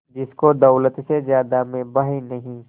जिसको दौलत से ज्यादा मैं भाई नहीं